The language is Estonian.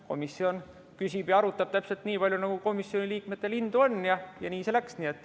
Komisjon küsib ja arutab täpselt nii palju, nagu komisjoni liikmetel indu on, ja nii see läks.